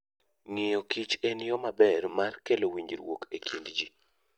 Ng'iyo kich en yo maber mar kelo winjruok e kind ji.